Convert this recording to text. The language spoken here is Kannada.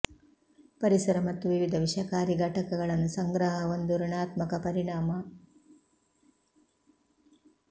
ಪರಿಸರ ಮತ್ತು ವಿವಿಧ ವಿಷಕಾರಿ ಘಟಕಗಳನ್ನು ಸಂಗ್ರಹ ಒಂದು ಋಣಾತ್ಮಕ ಪರಿಣಾಮ